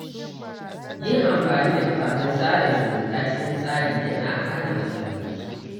Yin amfani da kafafen sada zumunta cikin tsari yana hana matsaloli.